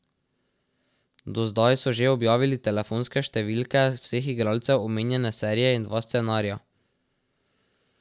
Do zdaj so že objavili telefonske številke vseh igralcev omenjene serije in dva scenarija.